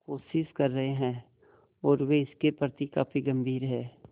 कोशिश कर रहे हैं और वे इसके प्रति काफी गंभीर हैं